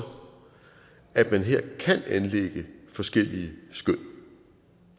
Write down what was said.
at man her kan anlægge forskellige skøn